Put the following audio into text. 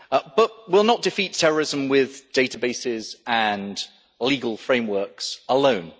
But we will not defeat terrorism with databases and legal frameworks alone.